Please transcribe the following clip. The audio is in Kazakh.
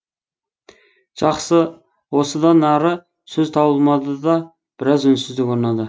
жақсы осыдан ары сөз табылмады да біраз үнсіздік орнады